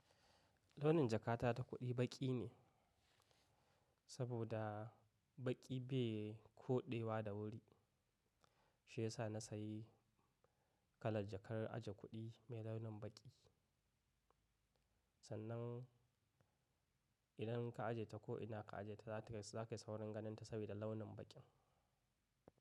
Launin jakata ta kuɗi baƙi ne saboda baƙi bai koɗewa da wuri, shi ya sa na sayi kalar jakar aje kuɗi mai launin baƙi. Sannan idan ka aje ta ko ina ka aje ta, za kayi saurin ganin ta saboda launin baƙin.